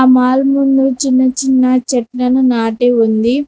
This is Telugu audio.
మాల్ ముందు చిన్న చిన్న చెట్లను నాటి ఉంది.